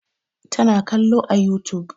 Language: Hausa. Ta na kallo a youtube